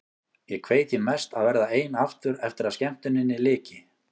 Ég kveið því mest að verða ein aftur eftir að skemmtuninni lyki.